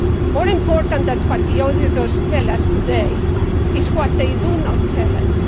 More important than what the auditors tell us today is what they do not tell us.